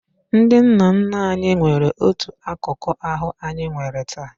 Ndị nna nna anyị nwere otu akụkụ ahụ anyị nwere taa.